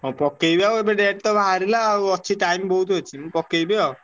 ହଁ ପକେଇବି ଆଉ ଏବେ date ତ ବାହାରିଲା ଆଉ ଅଛି time ବହୁତ୍ ଅଛି ମୁଁ ପକେଇବି ଆଉ।